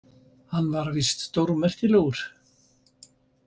Hann var víst stórmerkilegur.